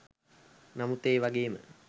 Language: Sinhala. නමුත් ඒ වගේම